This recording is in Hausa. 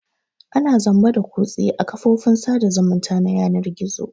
Ana zamba da kutse a kafofin sada zumunta na yanar gizo.